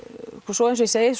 svo eins og ég segi